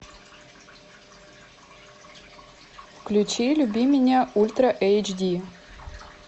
включи люби меня ультра эйч ди